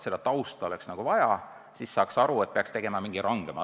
Seda tausta oleks vaja teada, siis saaks aru, kas peaks tegema mingi rangema korra.